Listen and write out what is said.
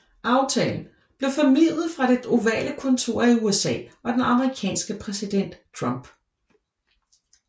Aftalen blev formidlet fra Det Ovale Kontor af USA og den amerikanske præsident Trump